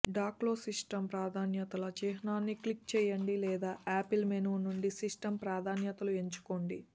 డాక్లో system ప్రాధాన్యతల చిహ్నాన్ని click చేయండి లేదా ఆపిల్ మెను నుండి సిస్టమ్ ప్రాధాన్యతలు ఎంచుకోండి